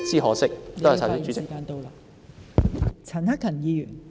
何議員，你的發言時限到了。